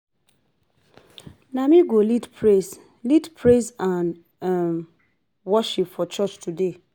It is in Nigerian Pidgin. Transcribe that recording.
Na me go lead praise lead praise and um worship for church today